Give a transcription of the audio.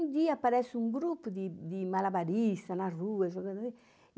Um dia aparece um grupo de de malabaristas na rua jogando.